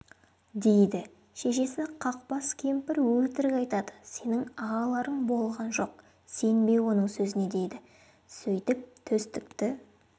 дейді шешесі қақпас кемпір өтірік айтады сенің ағаларың болған жоқ сенбе оның сөзіне дейді сөйтіп төстікті